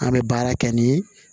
An bɛ baara kɛ ni